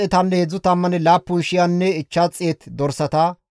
Isttafe 675 GODAAS dumma imota geetetti shaakettidayta.